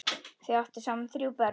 Þau áttu saman þrjú börn.